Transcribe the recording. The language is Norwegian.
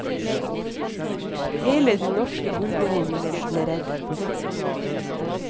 Hele den norske gullbeholdningen ble reddet.